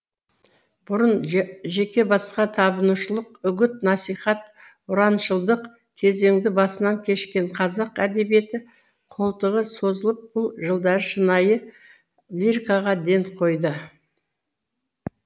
бұрын жеке басқа табынушылық үгіт насихат ұраншылдық кезеңді басынан кешкен қазақ әдебиеті қолтығы созылып бұл жылдары шынайы лирикаға ден қойды